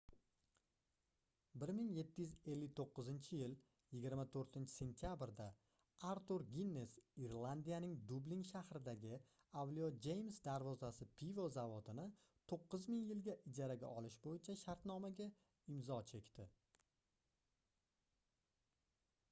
1759-yil 24-sentabrda artur ginnes irlandiyaning dublin shahridagi avliyo jeyms darvozasi pivo zavodini 9 ming yilga ijaraga olish boʻyicha shartnomaga imzo chekdi